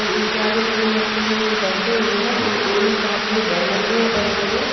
और इनके आगे तीन लड़के हैं जो बैठे हुए हैं और दो इनके हाथों में बैनर भी है बड़े बड़े--